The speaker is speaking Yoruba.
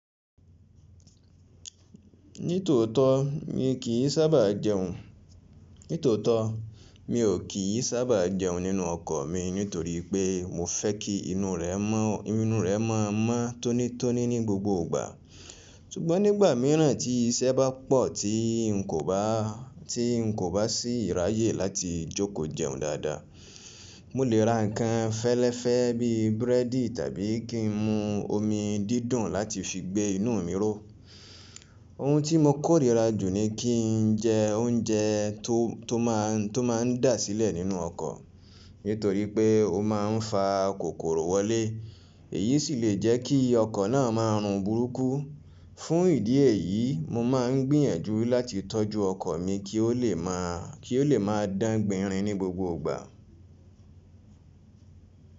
Nítòótó mi kì í sábà jẹun. Nítòótó mi ò kí í sábà jẹun nínú ọkọ̀ mi nítorí pé mo fẹ́ kí inú rẹ̀ mọ́, inú rẹ̀ mọ́ mọ́ tónítóní ní gbogbo ìgbà. Sugbọ́n nígbà míràn tí iṣẹ́ bá pọ̀ tí n kò bá, tí n kò bá sí ìráyè láti jókòó jẹun dáadáa. Mo lè ra ǹkan fẹ́lẹ́fẹ́ bíi búrẹ́dì tàbí kí n mu omi dídùn láti fi gbé inú mi ró. Ohun tí mo kórìíra jù ni kí n jẹ oúnjẹ tó, tó máa, tó máa ń dà sílẹ̀ nínú ọkọ̀. Nítorí pé ó máa ń fa kòkòrò wọlé, èyí sì lè jẹ́ kí ọkọ̀ náà máa run burúkú. Fún ìdí èyí, mo máa ń gbìyànjú láti tọ́jú ọkọ̀ mi kí ó lè máa, kí ó lè máa dán gbinrin ní gbogbo ìgbà.